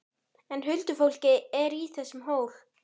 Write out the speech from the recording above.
En huldufólkið er í þessum hól!